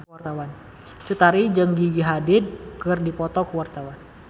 Cut Tari jeung Gigi Hadid keur dipoto ku wartawan